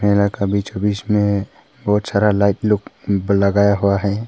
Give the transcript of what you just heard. मेला के बीचो बीच में बहोत सारा लाइट लोग लगाया हुआ है।